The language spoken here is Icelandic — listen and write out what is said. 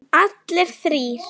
Allir þrír?